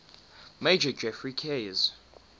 major geoffrey keyes